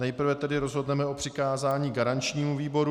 Nejprve tedy rozhodneme o přikázání garančnímu výboru.